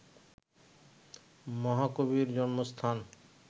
মহাকবির জন্মস্থান